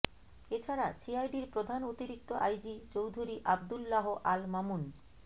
এ ছাড়া সিআইডির প্রধান অতিরিক্ত আইজি চৌধুরী আব্দুল্লাহ আল মামুন